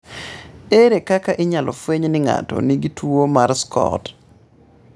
Ere kaka inyalo fweny ni ng'ato nigi tuwo mar SCOT?